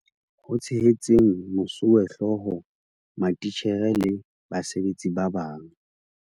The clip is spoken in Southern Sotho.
Ho tshehetseng mosuwehlooho, matitjhere le basebetsi ba bang.